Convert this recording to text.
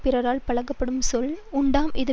பிறரால் பழிக்கப்படுஞ் சொல் உண்டாம் இது